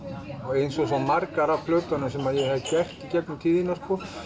eins og svo margar af plötunum sem ég hef gert í gegnum tíðina